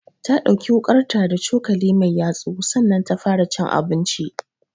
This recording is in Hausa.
Ta ɗauki wuƙarta da cokali mai yatsu sannan ta fara cin abinchi